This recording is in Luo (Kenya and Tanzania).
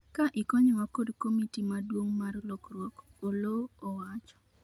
ka ikonyowa kod komiti maduong' mar lokruok ,Oloo owacho